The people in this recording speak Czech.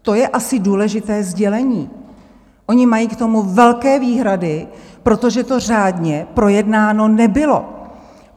To je asi důležité sdělení, oni mají k tomu velké výhrady, protože to řádně projednáno nebylo.